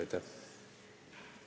Aitäh!